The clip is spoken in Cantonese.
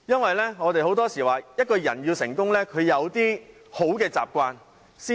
很多時候，我們說一個人要成功要有好的習慣。